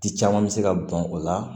Ti caman mi se ka bɔn o la